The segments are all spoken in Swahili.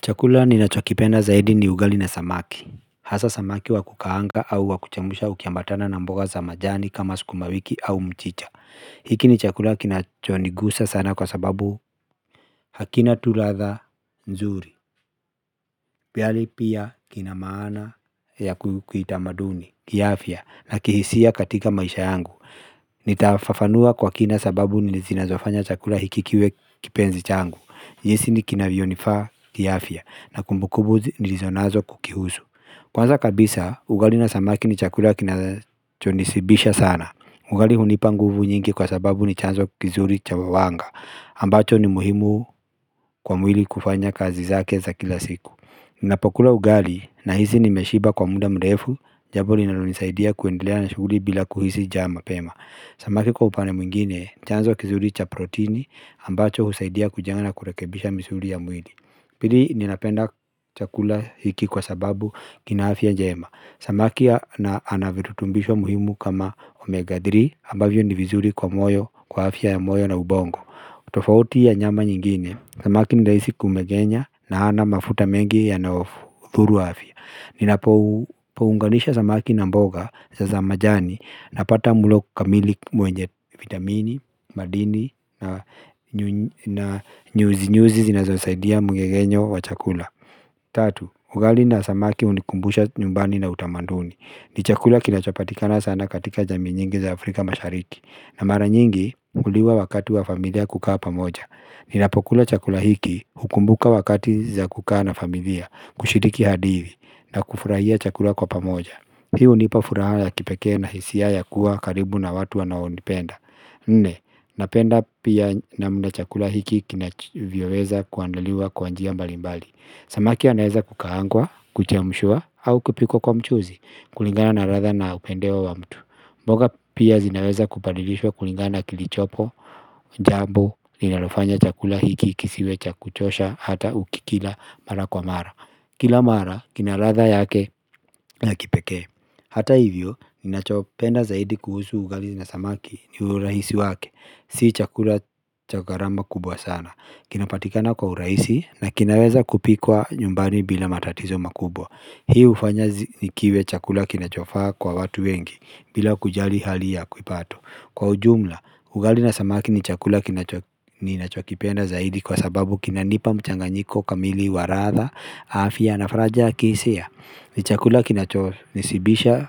Chakula ninachokipenda zaidi ni ugali na samaki Hasaa samaki wa kukaanga au wa kuchemusha ukiambatana na mboga za majani kama sukuma wiki au mchicha hiki ni chakula kinachonigusa sana kwa sababu hakina tu latha nzuri Pali pia kina maana ya kiutamaduni, kiafya na kihisia katika maisha yangu Nitafafanua kwa kina sababu zinazofanya chakula hiki kiwe kipenzi changu jinsi kinavyonifaa kiafya na kumbukumbu nilizonazo kukihusu Kwanza kabisa, ugali na samaki ni chakula kinachonishibisha sana ugali hunipa nguvu nyingi kwa sababu ni chanzo kizuri cha wawanga ambacho ni muhimu kwa mwili kufanya kazi zake za kila siku Ninapokula ugali nahisi nimeshiba kwa muda murefu Jambo linalonisaidia kwendelea na shughuli bila kuhisi njaa mapema Samaki kwa upande mwingine, ni chanzo kizuri cha protini ambacho husaidia kujenga na kurekebisha misuli ya mwili pili ninapenda chakula hiki kwa sababu kina afya njema samaki anavirutumbishwa muhimu kama omega 3 ambavyo ni vizuri kwa moyo, kwa afya ya moyo na ubongo tofauti ya nyama nyingine samaki ni rahisi kumegenya na hana mafuta mengi yanayothuru afya ninapounganisha samaki na mboga za majani Napata mlo kamili mwenye vitamini, madini na nyuzi nyuzi zinazosaidia mgegenyo wa chakula Tatu, ugali na samaki hunikumbusha nyumbani na utamanduni ni chakula kinachopatikana sana katika jamii nyingi za Afrika mashariki na mara nyingi hukuliwa wakati wa familia kukaa pamoja Ninapokula chakula hiki hukumbuka wakati za kukaa na familia kushiriki hadithi na kufurahia chakula kwa pamoja Hii hunipa furaha ya kipekee na hisia ya kuwa karibu na watu wanaonipenda Nne, napenda pia namna chakula hiki kinavyoweza kuandaliwa kwa njia mbalimbali Samaki anaeza kukaangwa, kuchemshwa, au kupikkwa kwa mchuzi kulingana na latha na upendeo wa mtu mboga pia zinaweza kubadilishwa kulingana na kilichopo, jambo, ninalofanya chakula hiki kisiwe cha kuchosha, hata ukikila mara kwa mara Kila mara, kina latha yake na kipekee Hata hivyo, ninachopenda zaidi kuhusu ugali na samaki ni urahisi wake Si chakula cha gharama kubwa sana Kinapatikana kwa urahisi na kinaweza kupikwa nyumbani bila matatizo makubwa Hii hufanya kiwe chakula kinachofaa kwa watu wengi bila kujali hali ya kupato Kwa ujumla, ugali na samaki ni chakula ninachopenda zaidi Kwa sababu kinanipa mchanganyiko kamili wa latha, afya, na faraja ya kihisia ni chakula kinachonishibisha,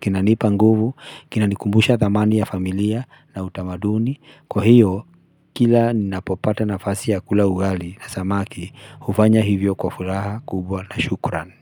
kinanipa nguvu, kinanikumbusha thamani ya familia na utamaduni Kwa hiyo, kila ninapopata nafasi ya kula ugali na samaki, hufanya hivyo kwa furaha kubwa na shukuran.